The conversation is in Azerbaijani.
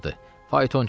Faytonçu dedi: